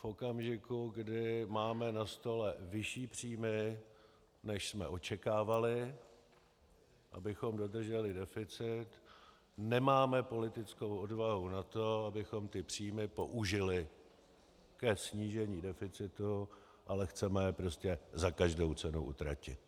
V okamžiku, kdy máme na stole vyšší příjmy, než jsme očekávali, abychom dodrželi deficit, nemáme politickou odvahu na to, abychom ty příjmy použili ke snížení deficitu, ale chceme je prostě za každou cenu utratit.